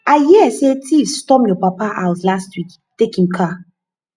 i hear say thieves storm your papa house last week take im car